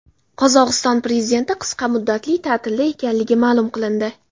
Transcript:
Qozog‘iston prezidenti qisqa muddatli ta’tilda ekanligi ma’lum qilindi.